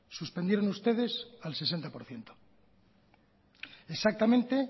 suspendieron ustedes al sesenta por ciento exactamente